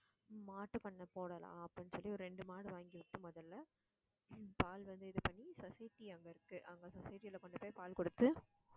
மாட்டு பண்ணை போடலாம் அப்படின்னு சொல்லி ஒரு இரண்டு மாடு வாங்கி வச்சு முதல்ல பால் வந்து, இது பண்ணி society அங்க இருக்கு அவங்க society ல கொண்டு போய் பால் கொடுத்து